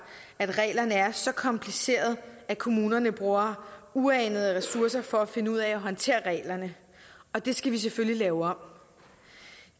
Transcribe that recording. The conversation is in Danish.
at reglerne er så komplicerede at kommunerne bruger uanede ressourcer for at finde ud af at håndtere reglerne og det skal vi selvfølgelig lave om